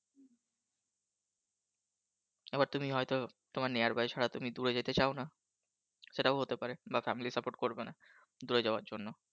এবার তুমি হয়তো তোমার Nearby ছাড়া দূরে যেতে চাও না সেটাও হতে পারে বা Family Support করবে না দূরে যাওয়ার জন্য।